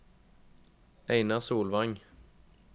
Einar Solvang